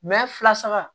fila saba